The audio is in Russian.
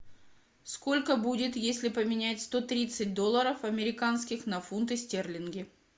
сколько будет если поменять сто тридцать долларов американских на фунты стерлинги